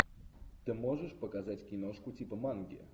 ты можешь показать киношку типа манги